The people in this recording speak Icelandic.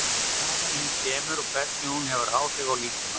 Hvaðan hún kemur og hvernig hún hefur áhrif á líkamann?